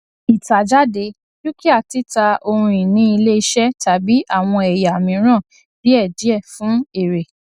ìtàjáde dúkìá títa ohunìní iléiṣẹ tàbí àwọn ẹyà mìíràn díẹdíẹ fún èrè